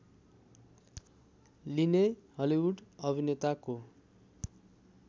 लिने हलिवुड अभिनेताको